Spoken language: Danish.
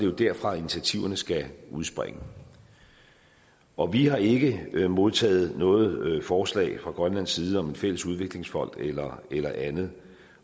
det derfra at initiativerne skal udspringe og vi har ikke modtaget noget forslag fra grønlands side om en fælles udviklingsfond eller eller andet